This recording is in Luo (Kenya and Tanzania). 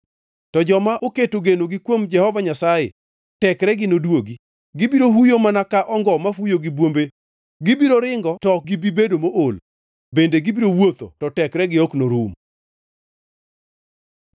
to joma oketo genogi kuom Jehova Nyasaye tekregi nodwogi. Gibiro huyo mana ka ongo mafuyo gi bwombe; gibiro ringo to ok gibi bedo mool, bende gibiro wuotho to tekregi ok norum.